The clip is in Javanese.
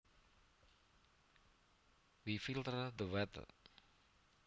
We filter the water